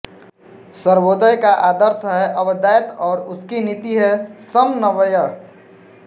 सर्वोदय का आदर्श है अद्वैत और उसकी नीति है समन्वय